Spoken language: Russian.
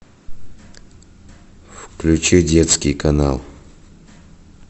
включи детский канал